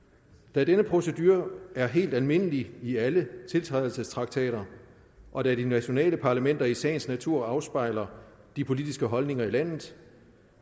da denne procedure er helt almindelig i alle tiltrædelsestraktater og da de nationale parlamenter i sagens natur afspejler de politiske holdninger i landet